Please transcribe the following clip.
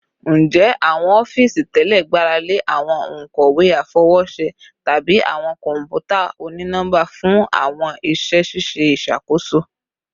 Njẹ awọn ọfiisi tẹlẹ gbarale awọn onkọwe afọwọṣe tabi awọn kọnputa oni-nọmba fun awọn iṣẹ ṣiṣe iṣakoso?